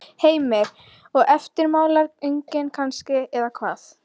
Heimir: Og eftirmálar engir kannski eða hvað?